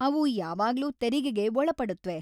ಅವು ಯಾವಾಗ್ಲೂ ತೆರಿಗೆಗೆ ಒಳಪಡುತ್ವೆ.